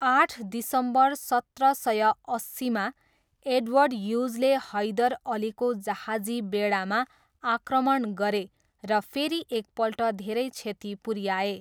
आठ दिसम्बर सत्र सय अस्सीमा, एडवर्ड ह्युजले हैदर अलीको जहाजी बेडामा आक्रमण गरे र फेरि एकपल्ट धेरै क्षति पुऱ्याए।